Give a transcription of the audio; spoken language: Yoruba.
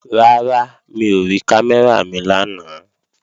Rárá, mi ò rí kámẹ́rà mi lánàá